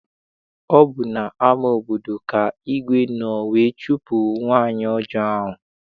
Ọ bụ n'ama obodo ka igwe nọ wee chụpụ nwaanyị ọjọọ ahụ.